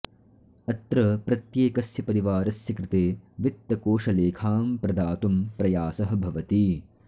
अत्र प्रत्येकस्य परिवारस्य कृते वित्तकोषलेखां प्रदातुं प्रयासः भवति